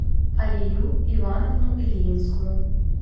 алию ивановну ильинскую